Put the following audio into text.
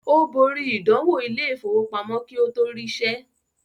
Ó borí “ìdánwò Ilé-ìfowópamọ́ ” kí ó tó rí iṣẹ́.